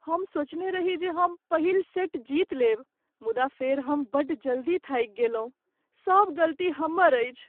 हम सोचने रही जे हम पहिल सेट जीत लेब, मुदा फेर हम बड्ड जल्दी थाकि गेलहुँ। सब गलती हमर अछि।